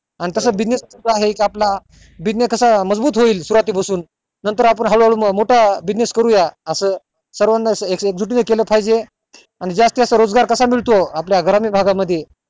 आणि तसा business आहे च आपला business कसा मजबूत सुरुवाती पासून नंतर आपण हळू हळू मोठं business करू या असं सर्वाना एक जुटीने केलं पाहिजे आणि जास्तीत जास्त रोजगार कसा मिळतो आपल्या ग्रामीण भागा मध्ये